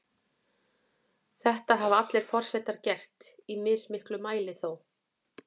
Þetta hafa allir forsetar gert, í mismiklum mæli þó.